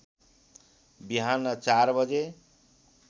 बिहान ४ बजे